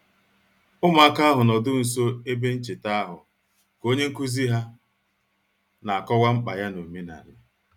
Ụmụntakịrị ahụ nọdụrụ ala nso ebe ncheta ahụ ka onye nkuzi ha kọwara ha mkpa ya n'omenala